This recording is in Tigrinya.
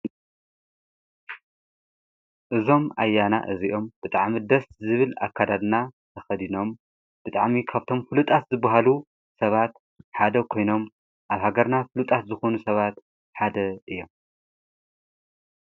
እዞም ኣያና እዚኦም ብጥዓሚ ደስት ዝብል ኣካዳድና ተኸዲኖም ብጥዕሚ ከብቶም ፍሉጣት ዝብሃሉ ሰባት ሓደ ኮይኖም ኣብ ሃገርና ፍሉጣት ዝኾኑ ሰባት ሓደ እዮም።